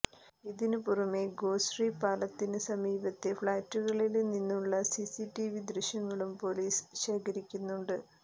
ഇതിന് പുറമെ ഗോശ്രീ പാലത്തിന് സമീപത്തെ ഫ്ളാറ്റുകളില് നിന്നുള്ള സിസിടിവി ദൃശ്യങ്ങളും പോലീസ് ശേഖരിക്കുന്നുണ്ട്